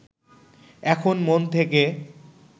এখন মন থেকে